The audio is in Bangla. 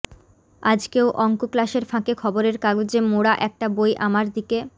আজকেও অংক ক্লাসের ফাঁকে খবরের কাগজে মোড়া একটা বই আমার দিকে